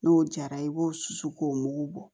N'o jara i b'o susu k'o mugu bɔ